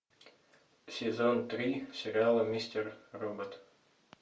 сезон три сериала мистер робот